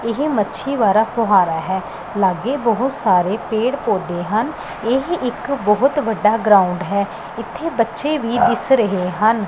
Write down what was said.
ਇਹ ਮੱਛੀ ਵਾਰਾ ਫਵਾਰਾ ਹੈ ਲਾਗੇ ਬਹੁਤ ਸਾਰੇ ਪੇੜ ਪੌਦੇ ਹਨ ਇਹ ਇੱਕ ਬਹੁਤ ਵੱਡਾ ਗਰਾਊਂਡ ਹੈ ਇੱਥੇ ਬੱਚੇ ਵੀ ਦਿਸ ਰਹੇ ਹਨ।